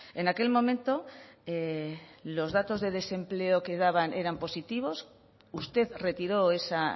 en aquel momento los datos de desempleo que daban eran positivos usted retiró esa